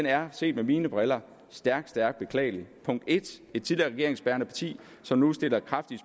her set med mine briller stærkt stærkt beklagelig punkt en et tidligere regeringsbærende parti som nu sætter kraftigt